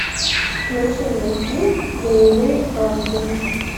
включи мне фильм боевые ангелы